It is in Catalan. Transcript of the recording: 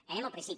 anem al principi